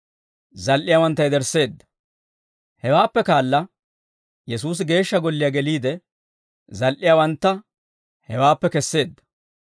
Hawaappe kaala Yesuusi geeshsha golliyaa geliide, zal"iyaawantta hewaappe kesseedda.